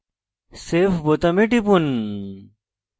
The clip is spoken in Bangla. save বোতামে টিপুন